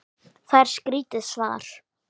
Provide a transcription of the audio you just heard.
Það er skrítið svar.